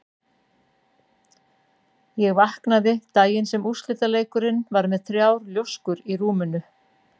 Ég vaknaði daginn sem úrslitaleikurinn var með þrjár ljóskur í rúminu.